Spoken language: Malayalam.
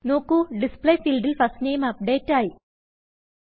നോക്കൂ Display ഫീൽഡിൽ ഫസ്റ്റ് നെയിം അപ്ഡേറ്റ് ആയി